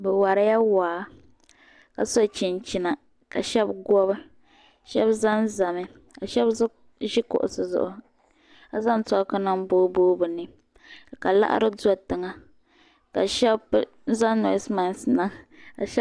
Bɛ warila waa, ka so chinchina ka shabi gobi, shabi ʒɛnʒami. ka shabi ʒi kuɣisi zuɣu ka zaŋ choki nim boo boo bɛni. ka liɣiri do tiŋa.ka shabi zaŋ nose mate niŋ.